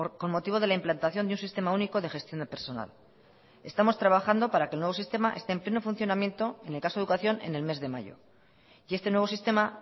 con motivo de la implantación de un sistema único de gestión de personal estamos trabajando para que el nuevo sistema esté en pleno funcionamiento en el caso de educación en el mes de mayo y este nuevo sistema